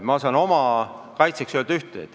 Ma saan oma kaitseks öelda ühte.